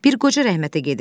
Bir qoca rəhmətə gedib.